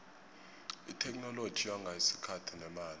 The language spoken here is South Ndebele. itheknoloji yonga isikhathi nemali